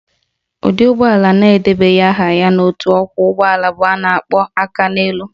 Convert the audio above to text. Ụdị ụgbọala na-edebanyeghi aha ha n'otu ọkwọụgbọala bụ ndị a na-akpọ Akaneelu